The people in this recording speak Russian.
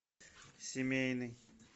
семейный